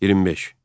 25.